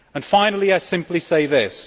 Finally, I simply say this.